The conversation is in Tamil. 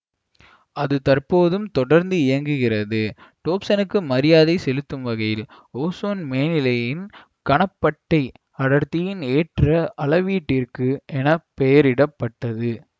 அது தற்போதும் தொடர்ந்து இயங்குகிறது டோப்சனுக்கு மரியாதை செலுத்தும் வகையில் ஓசோன் மேனிலையின் கனப்பட்டை அடர்த்தியின் ஏற்ற அளவீட்டிற்கு என பெயரிட பட்டது